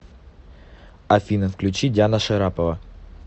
афина включи диана шарапова